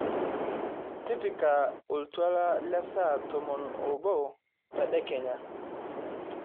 tipika oltuala lesaa tomon oobo tedekenya